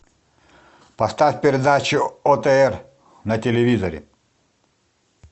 поставь передачу отр на телевизоре